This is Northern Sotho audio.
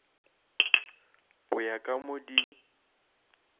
go ya ka mo di